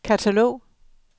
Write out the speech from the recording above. katalog